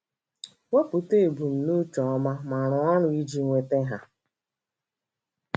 Wepụta ebumnuche ọma, ma rụọ ọrụ iji nweta ha.